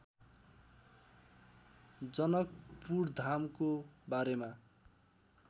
जनकपुरधामको बारेमा